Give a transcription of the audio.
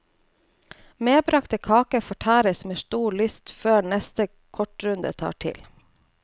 Medbragte kaker fortæres med stor lyst, før neste kortrunde tar til.